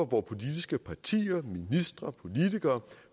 politiske partier ministre og politikere